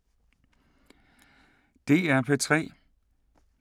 DR P3